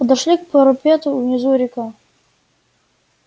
подошли к парапету внизу река